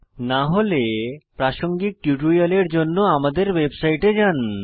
না হলে প্রাসঙ্গিক টিউটোরিয়ালের জন্য আমাদের ওয়েবসাইটে যান